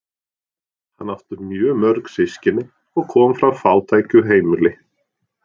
Hann átti mjög mörg systkini og kom frá fátæku heimili.